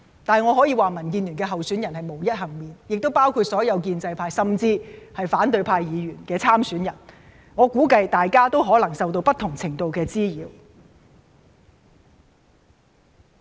不過，我可以說民建聯的候選人便是無一幸免的，當中亦包括了所有建制派，甚至是反對派議員的參選人，我估計大家可能也受到不同程度的滋擾。